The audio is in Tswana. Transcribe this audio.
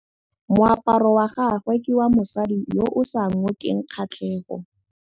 Moaparô wa gagwe ke wa mosadi yo o sa ngôkeng kgatlhegô.